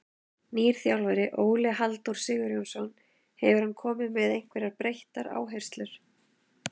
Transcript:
Nýr þjálfari, Óli Halldór Sigurjónsson, hefur hann komið með einhverjar breyttar áherslur?